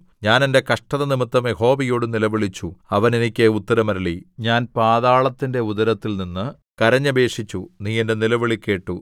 ഞാൻ എന്റെ കഷ്ടത നിമിത്തം യഹോവയോട് നിലവിളിച്ചു അവൻ എനിക്ക് ഉത്തരം അരുളി ഞാൻ പാതാളത്തിന്റെ ഉദരത്തിൽനിന്ന് കരഞ്ഞപേക്ഷിച്ചു നീ എന്റെ നിലവിളി കേട്ടു